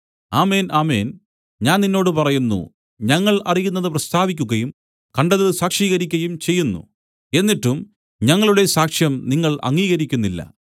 ആമേൻ ആമേൻ ഞാൻ നിന്നോട് പറയുന്നു ഞങ്ങൾ അറിയുന്നത് പ്രസ്താവിക്കുകയും കണ്ടത് സാക്ഷീകരിക്കയും ചെയ്യുന്നു എന്നിട്ടും ഞങ്ങളുടെ സാക്ഷ്യം നിങ്ങൾ അംഗീകരിക്കുന്നില്ല